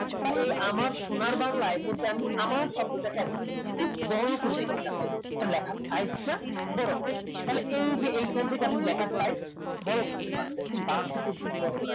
বা এই আমার সোনার বাংলা এর মধ্যে আমি আমার শব্দটাকে আমি খুব বড়ো করে দেখতে চাচ্ছি লেখার size তা বড়ো হবে তাহলে এইযে এখান থেকে আপনি লেখার size বড়ো করতে পারবেন দেখছেন বাহাত্তর পর্যন্ত বড়ো করা যায়